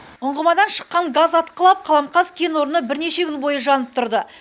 ұңғымадан шыққан газ атқылап қаламқас кен орны бірнеше күн бойы жанып тұрды